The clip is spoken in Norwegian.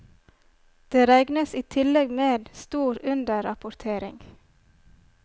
Det regnes i tillegg med stor underrapportering.